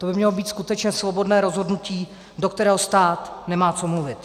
To by mělo být skutečně svobodné rozhodnutí, do kterého stát nemá co mluvit.